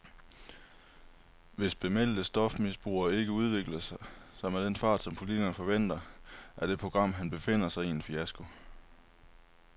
Hvis bemeldte stofmisbrugere ikke udvikler sig med den fart, som politikerne forventer, er det program, han befinder sig i, en fiasko.